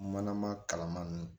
Manama kalaman nunnu